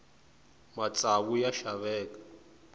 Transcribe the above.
matsavu ya xaveka